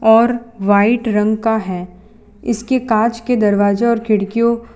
और व्हाइट रंग का है इसके कांच के दरवाजे और खिड़कियों--